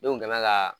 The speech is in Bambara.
Ne kun bɛ ka